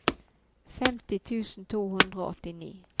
femti tusen to hundre og åttini